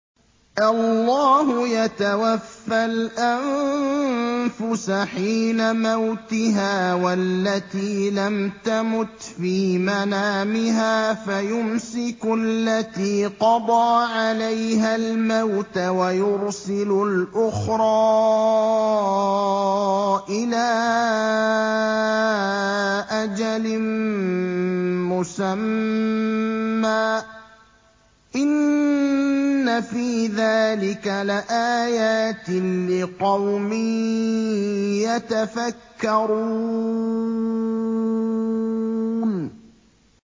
اللَّهُ يَتَوَفَّى الْأَنفُسَ حِينَ مَوْتِهَا وَالَّتِي لَمْ تَمُتْ فِي مَنَامِهَا ۖ فَيُمْسِكُ الَّتِي قَضَىٰ عَلَيْهَا الْمَوْتَ وَيُرْسِلُ الْأُخْرَىٰ إِلَىٰ أَجَلٍ مُّسَمًّى ۚ إِنَّ فِي ذَٰلِكَ لَآيَاتٍ لِّقَوْمٍ يَتَفَكَّرُونَ